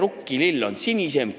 Kelle rukkilill on sinisem?